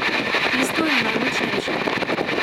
Tisto je najmočnejše.